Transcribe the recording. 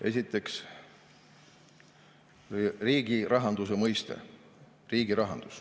Esiteks, riigirahanduse mõiste.